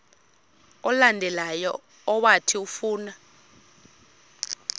olandelayo owathi ufuna